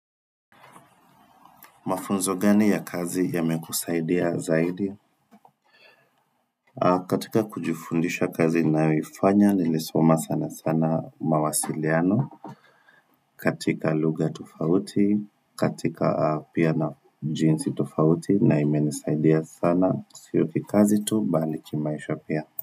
Mafunzo gani ya kazi yameku saidia zaidi katika kujifundisha kazi ninayoifanya, nilisoma sana sana mawasiliano katika lugha tofauti, katika pia na jinsi tofauti na imenisaidia sana Sio kikazi tu baliki maisha pia.